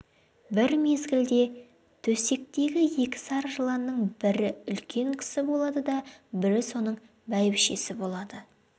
бір мезгілде төсектегі екі сары жыланның бірі үлкен кісі болады да бірі соның бәйбішесі болады